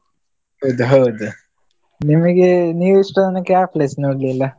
ಹೌದು ಹೌದು. ನಿಮಗೆ ನೀವು ಇಷ್ಟರತನಕ ಯಾವ place ನೋಡ್ಲಿಲ್ಲ?